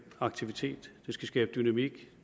aktivitet det skal skabe dynamik